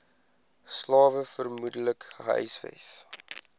slawe vermoedelik gehuisves